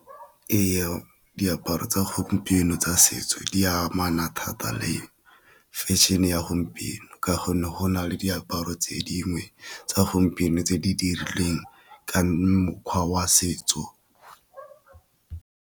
Eya diaparo tsa gompieno tsa setso di amana thata le fashion-e ya gompieno, ka go ne go na le diaparo tse dingwe tsa gompieno tse di dirilweng ka mokgwa wa setso.